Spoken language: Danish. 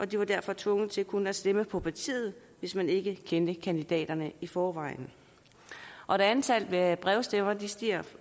de var derfor tvunget til kun at stemme på partiet hvis ikke man kendte kandidaterne i forvejen og da antallet af brevstemmer stiger